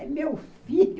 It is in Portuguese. É meu filho.